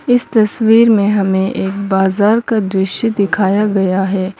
इस तस्वीर में हमें एक बाजार का दृश्य दिखाया गया है।